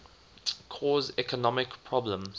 cause economic problems